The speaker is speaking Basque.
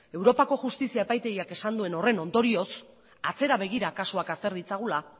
europako justizia epaitegiak esan duen horren ondorioz atzera begira kasuak azter ditzagula